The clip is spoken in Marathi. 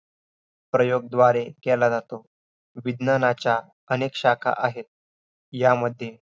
आयुर्वेद शब्दाची व्याख्या हितकर व अहीतकर आयुष्य म्हणजे काय इत्यादी विषयांची माहिती मिळणारा